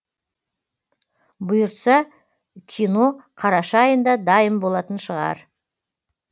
бұйыртса кино қараша айында дайын болатын шығар